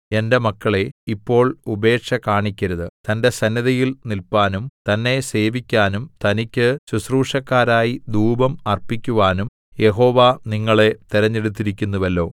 എന്റെ മക്കളേ ഇപ്പോൾ ഉപേക്ഷ കാണിക്കരുത് തന്റെ സന്നിധിയിൽ നില്പാനും തന്നെ സേവിക്കാനും തനിക്ക് ശുശ്രൂഷക്കാരായി ധൂപം അർപ്പിക്കുവാനും യഹോവ നിങ്ങളെ തിരഞ്ഞെടുത്തിരിക്കുന്നുവല്ലോ